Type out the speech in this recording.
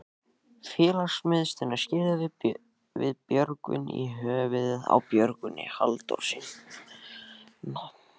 Félagsmiðstöðina skírðum við Björgvin í höfuðið á Björgvini Halldórssyni.